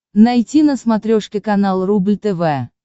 найти на смотрешке канал рубль тв